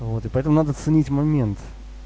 вот и поэтому надо ценить момент